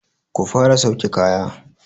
Ku fara sauke kaya!